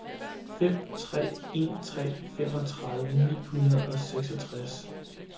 fem tre en tre femogtredive ni hundrede og seksogtres